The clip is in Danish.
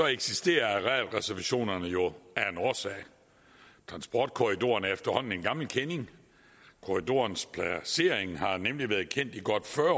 eksisterer arealreservationerne jo af en årsag transportkorridoren er efterhånden en gammel kending korridorens placering har nemlig været kendt i godt fyrre